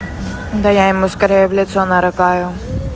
да я ему скорее в лицо нарыгаю